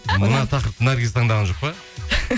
мына тақырыпты наргиз таңдаған жоқ па